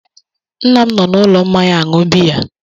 Nna m nọ n'ụlọ mmanya aṅụ biya